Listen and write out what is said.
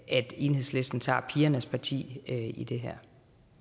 enhedslisten tager pigernes parti i det